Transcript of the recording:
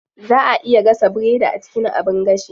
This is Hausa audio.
Zaa a iya gasa biredi a cikin abin gashi.